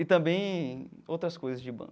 E também outras coisas de banco.